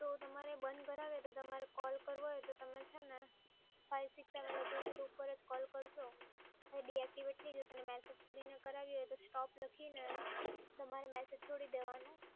તો તમારે બંધ કરાવી હોય તો તમારે કૉલ કરવો હોય તો તમે છે ને five six seven doubel zero પર જ કૉલ કરજો ડિએક્ટિવેટ થઈ જશે ને મેસેજ કરીને કરાવી હોય તો stop લખીને તમારે મેસેજ છોડી દેવાનો